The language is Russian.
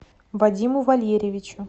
вадиму валерьевичу